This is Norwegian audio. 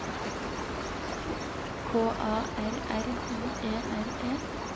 K A R R I E R E